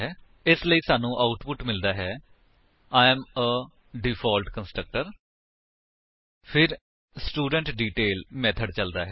ਇਸ ਲਈ ਸਾਨੂੰ ਆਉਟਪੁਟ ਮਿਲਦਾ ਹੈ I am a default constructor ਫਿਰ ਸਟੂਡੈਂਟਡੀਟੇਲ ਮੇਥਡ ਚਲਦਾ ਹੈ